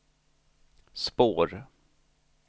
spår